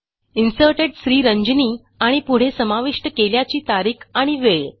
inserted Sriranjani आणि पुढे समाविष्ट केल्याची तारीख आणि वेळ